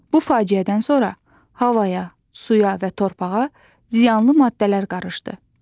Bu faciədən sonra havaya, suya və torpağa ziyanlı maddələr qarışdı.